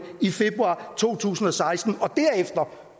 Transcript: i februar to tusind og seksten og derefter